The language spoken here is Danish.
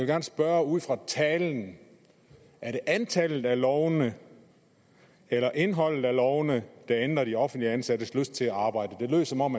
gerne spørge ud fra talen er det antallet af lovene eller indholdet af lovene der ændrer de offentligt ansattes lyst til at arbejde det lyder som om